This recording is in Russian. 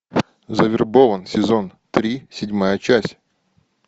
завербован сезон три седьмая часть